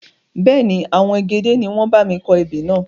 Bẹ́ẹ̀ni, àwọn egede ni wọn bámi kọ ebè náà.